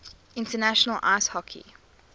international ice hockey